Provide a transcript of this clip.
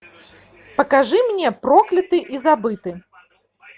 покажи мне прокляты и забыты